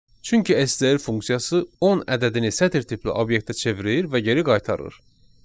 Çünki STR funksiyası 10 ədədini sətr tipli obyektə çevirir və geri qaytarır.